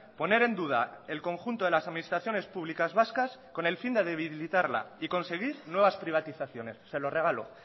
poner en duda el conjunto de las administraciones públicas vascas con el fin de debilitarla y conseguir nuevas privatizaciones se lo regalo